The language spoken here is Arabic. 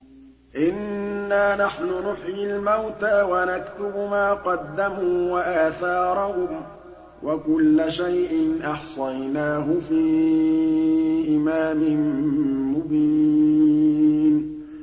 إِنَّا نَحْنُ نُحْيِي الْمَوْتَىٰ وَنَكْتُبُ مَا قَدَّمُوا وَآثَارَهُمْ ۚ وَكُلَّ شَيْءٍ أَحْصَيْنَاهُ فِي إِمَامٍ مُّبِينٍ